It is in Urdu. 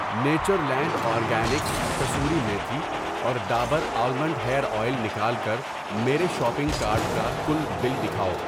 نیچرلینڈ اورگینکس کسوری میتھی اور ڈابر آلمنڈ ہیئر اویل نکال کر میرے شاپنگ کارٹ کا کل بل دکھاؤ۔